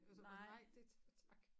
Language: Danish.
Jeg sagde bare nej det tak